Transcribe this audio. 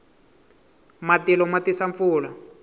matilo ma tisa pfula